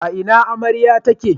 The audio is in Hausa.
A ina amarya take?